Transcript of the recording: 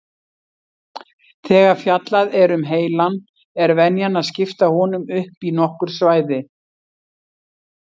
Þegar fjallað er um heilann er venjan að skipta honum upp í nokkur svæði.